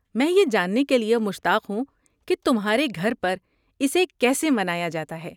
میں یہ جاننے کے لیے مشتاق ہوں کہ تمہارے گھر پر اسے کیسے منایا جاتا ہے۔